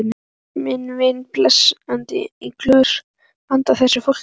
Minn vin blandaði í glös handa þessu fólki.